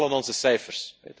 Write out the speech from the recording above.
We halen onze cijfers.